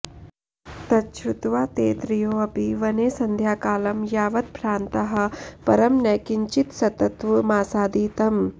तच्छ्रुत्वा ते त्रयोऽपि वने सन्ध्याकालं यावद्भ्रान्ताः परं न किञ्चित्सत्त्वमासादितम्